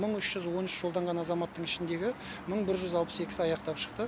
мың үш жүз он үш жолданған азаматтың ішіндегі мың бір жүз алпыс екісі аяқтап шықты